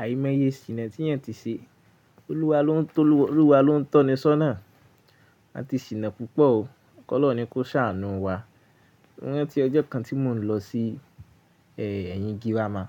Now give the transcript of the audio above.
Àìmọye sìna tí eyan ti ṣe, Olúwa ló ń tọ́ni sona. A ti sina púpọ̀ o, Kolorun ní kó ṣàánú wa. Ọjọ́ kan tí mò ń lọ sí ẹ̀yìn girama,